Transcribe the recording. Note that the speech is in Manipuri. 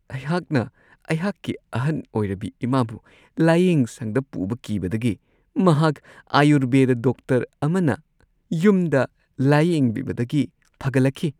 ꯑꯩꯍꯥꯛꯅ ꯑꯩꯍꯥꯛꯀꯤ ꯑꯍꯟ ꯑꯣꯏꯔꯕꯤ ꯏꯃꯥꯕꯨ ꯂꯥꯌꯦꯡꯁꯪꯗ ꯄꯨꯕ ꯀꯤꯕꯗꯒꯤ ꯃꯍꯥꯛ ꯑꯥꯌꯨꯔꯕꯦꯗꯥ ꯗꯣꯛꯇꯔ ꯑꯃꯅ ꯌꯨꯝꯗ ꯂꯥꯌꯦꯡꯕꯤꯕꯗꯒꯤ ꯐꯒꯠꯂꯛꯂꯤ ꯫